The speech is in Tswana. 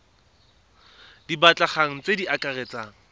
di batlegang tse di akaretsang